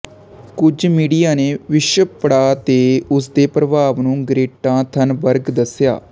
ਕੁਝ ਮੀਡੀਆ ਨੇ ਵਿਸ਼ਵ ਪੜਾਅ ਤੇ ਉਸ ਦੇ ਪ੍ਰਭਾਵ ਨੂੰ ਗ੍ਰੇਟਾ ਥਨਬਰਗ ਦੱਸਿਆ